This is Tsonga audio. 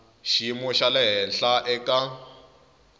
xiyimo xa le henhla eka